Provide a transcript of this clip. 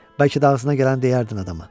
Bəlkə də ağzına gələni deyərdin adama.